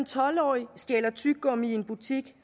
tolv årig stjæler tyggegummi i en butik